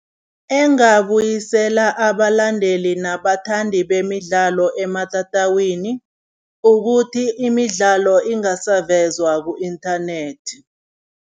Engabuyisela abalandeli nabathandi bemidlalo ematatawini ukuthi, imidlalo ingasavezwa ku-internet.